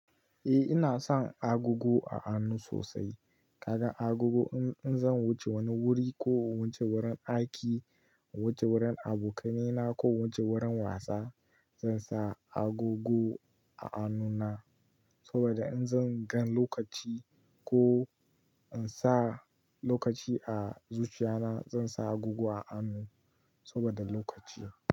Eh ina son agogo a hannu sosai. Kaga agogo in zan wuce wani wuri ko in wuce wurin aiki, in wuce wurin abokaina ko in wuce wurin wasa zan sa agogo a hannuna saboda in zan gan lokaci ko in sa lokaci a zuciyana zan sa agogo a hannu saboda lokaci.